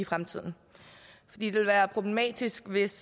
fremtiden fordi det vil være problematisk hvis